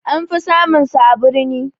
Anfi samun su a birni